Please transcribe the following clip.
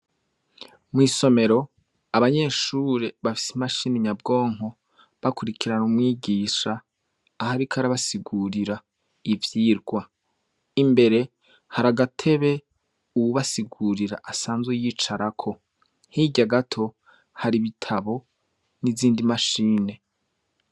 Mw'isomero, abanyeshure bafise imashini nyabwonko, bakurikirana umwigisha, aho ariko arabasigurira ivyigwa. Imbere, hari agatebe, uwubasigurira asanzwe yicarako. Hirya gato, hari ibitabo, n'izindi mashini.